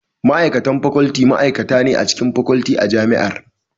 Ma'aikacin Faculty ma'aikaci ne a cikin Faculty a Jami'ar.